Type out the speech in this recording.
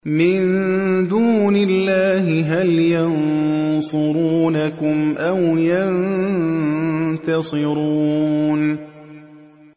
مِن دُونِ اللَّهِ هَلْ يَنصُرُونَكُمْ أَوْ يَنتَصِرُونَ